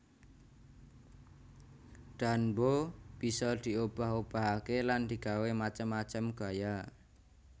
Danbo bisa diobah obahaké lan digawé macem macem gaya